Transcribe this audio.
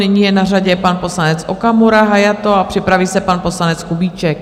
Nyní je na řadě pan poslanec Okamura Hayato a připraví se pan poslanec Kubíček.